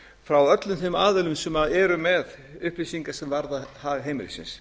frá öllum þeim aðilum sem eru með upplýsingar sem varða hag heimilisins